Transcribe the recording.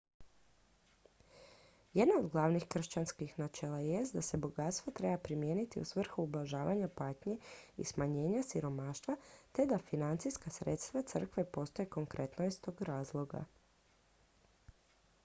jedno od glavnih kršćanskih načela jest da se bogatstvo treba primijeniti u svrhu ublažavanja patnje i smanjenja siromaštva te da financijska sredstva crkve postoje konkretno iz tog razloga